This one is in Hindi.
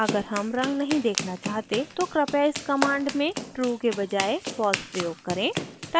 अगर हम रंग नहीं देखना चाहते हैं तो कृपया इस command में true के बजाए false प्रयोग करें